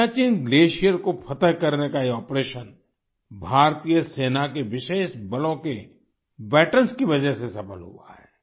Siachen glacier को फतह करने का ये ऑपरेशन भारतीय सेना के विशेष बलों के वेटरन्स की वजह से सफल हुआ है